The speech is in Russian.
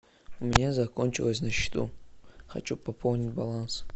у меня закончилось на счету хочу пополнить баланс